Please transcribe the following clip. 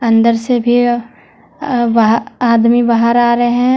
अंदर से भी अ बाह आदमी बाहर आ रहे हैं।